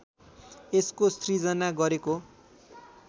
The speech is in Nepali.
यसको सृजना गरेको